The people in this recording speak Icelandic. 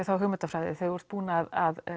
þá hugmyndafræði þegar þú ert búinn að